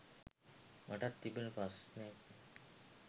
මටත් තිබෙන ප්‍රශ්නේ.